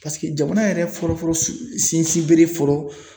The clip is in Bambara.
Paseke jamana yɛrɛ fɔlɔfɔlɔ sin sinsin bere fɔlɔ